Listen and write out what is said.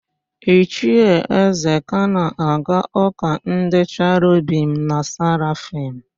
Ichie Ezeka na-aga ụ́kà ndị Cherobim na Serafim.